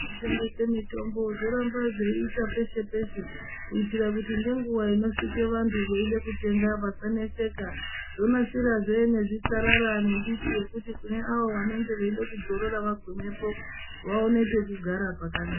Zvintengesa mitombo zvoramba zveita peshe peshe kuitira kuti ngenguvwa inosvika vantu veida kutenga vasaneseka . Zvonasirazve nezvisarara nembiti yekuti kune avo vanenge veida kudzorora vagumepo vaone pekugara pakanaka